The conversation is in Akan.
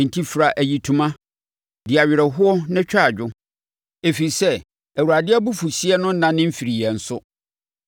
Enti fira ayitoma, di awerɛhoɔ na twa adwo, ɛfiri sɛ Awurade abufuhyeɛ no nnane mfirii yɛn so.